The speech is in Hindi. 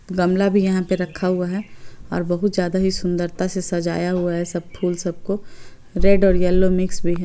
गमला भी यहाँ पर रखा हुआ है और बहुत ज्यादा ही सुंदरता से सजाया हुआ है| सब फूल सबको रेड और येलो मिक्स में है।